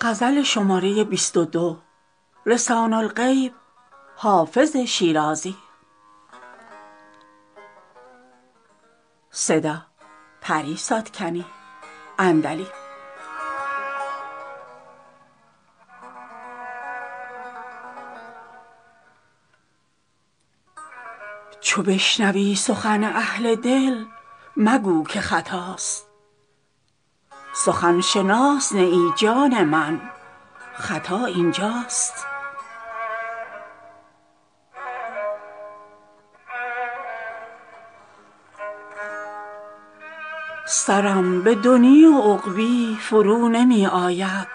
چو بشنوی سخن اهل دل مگو که خطاست سخن شناس نه ای جان من خطا این جاست سرم به دنیی و عقبی فرو نمی آید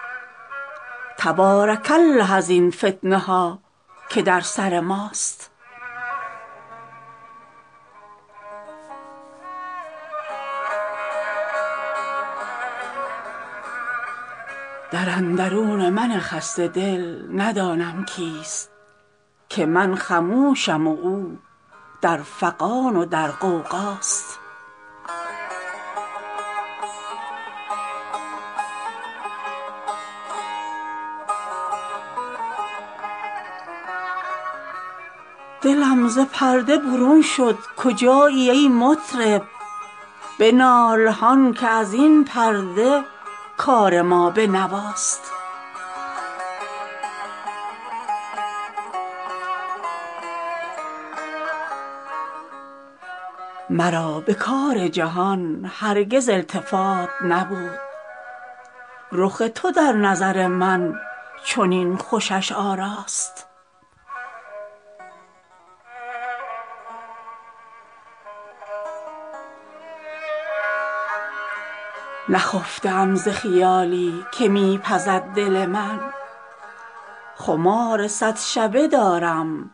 تبارک الله ازین فتنه ها که در سر ماست در اندرون من خسته دل ندانم کیست که من خموشم و او در فغان و در غوغاست دلم ز پرده برون شد کجایی ای مطرب بنال هان که از این پرده کار ما به نواست مرا به کار جهان هرگز التفات نبود رخ تو در نظر من چنین خوشش آراست نخفته ام ز خیالی که می پزد دل من خمار صد شبه دارم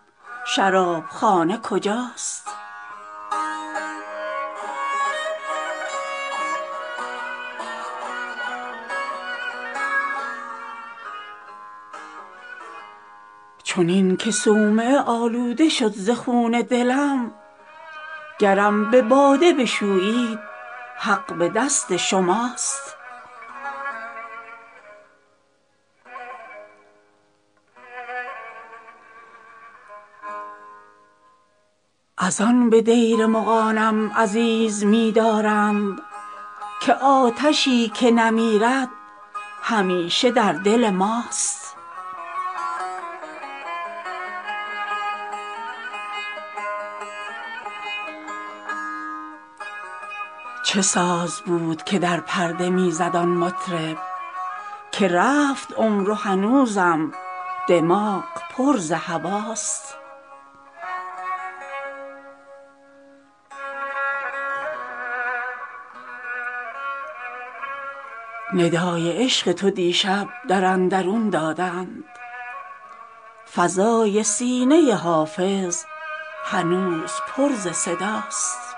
شراب خانه کجاست چنین که صومعه آلوده شد ز خون دلم گرم به باده بشویید حق به دست شماست از آن به دیر مغانم عزیز می دارند که آتشی که نمیرد همیشه در دل ماست چه ساز بود که در پرده می زد آن مطرب که رفت عمر و هنوزم دماغ پر ز هواست ندای عشق تو دیشب در اندرون دادند فضای سینه حافظ هنوز پر ز صداست